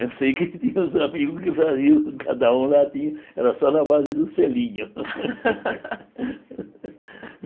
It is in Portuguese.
Eu sei que tinha uns amigos que faziam, cada um lá tinha, era só na base do selinho.